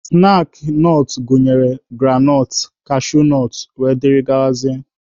Snaakị nọt gụnyere granọt, kashunọt wdg.